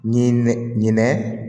Ɲinɛ ɲinɛ